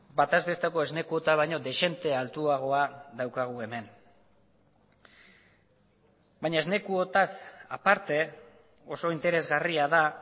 bataz besteko esne kuota baino dezente altuagoa daukagu hemen baina esne kuotaz aparte oso interesgarria da